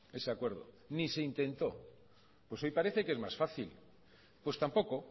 ese acuerdo ni se intentó pues hoy parece que es más fácil pues tampoco